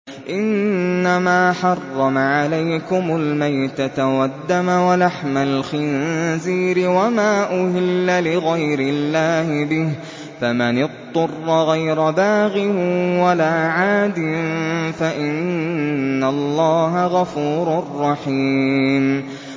إِنَّمَا حَرَّمَ عَلَيْكُمُ الْمَيْتَةَ وَالدَّمَ وَلَحْمَ الْخِنزِيرِ وَمَا أُهِلَّ لِغَيْرِ اللَّهِ بِهِ ۖ فَمَنِ اضْطُرَّ غَيْرَ بَاغٍ وَلَا عَادٍ فَإِنَّ اللَّهَ غَفُورٌ رَّحِيمٌ